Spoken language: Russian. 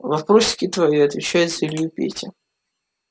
вопросики твои отвечает за илью петя